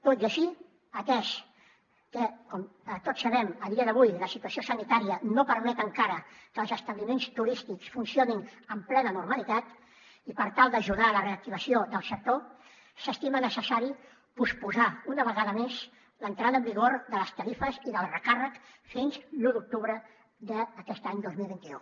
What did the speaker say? tot i així atès que com tots sabem a dia d’avui la situació sanitària no permet encara que els establiments turístics funcionin amb plena normalitat i per tal d’ajudar a la reactivació del sector s’estima necessari posposar una vegada més l’entrada en vigor de les tarifes i del recàrrec fins a l’un d’octubre d’aquest any dos mil vint u